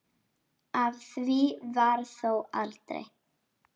Af því varð þó aldrei.